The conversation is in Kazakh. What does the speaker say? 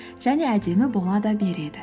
және әдемі бола да береді